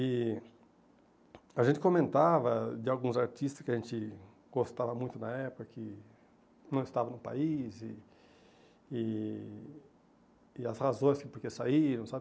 E a gente comentava de alguns artistas que a gente gostava muito na época, que não estavam no país e e e as razões de porquê saíram, sabe?